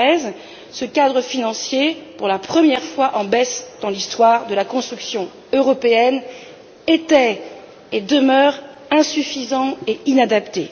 2013. Ce cadre financier pour la première fois en baisse dans l'histoire de la construction européenne était et demeure insuffisant et inadapté.